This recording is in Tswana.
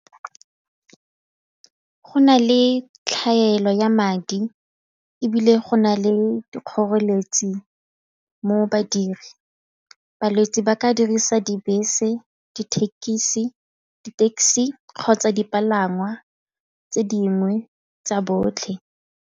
Go na le tlhaelo ya madi ebile go na le dikgoreletsi mo badiri, balwetse ba ka dirisa dibese, dithekisi di-taxi kgotsa dipalangwa tse dingwe tsa botlhe.